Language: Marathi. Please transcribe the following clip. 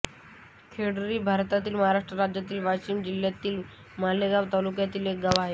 खेरडी हे भारतातील महाराष्ट्र राज्यातील वाशिम जिल्ह्यातील मालेगाव तालुक्यातील एक गाव आहे